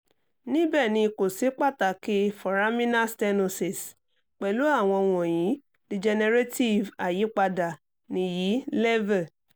níbẹ̀ ni kò sí pàtàkì foraminal stenosis pẹ̀lú àwọn wọ̀nyí degenerative àyípadà nìyí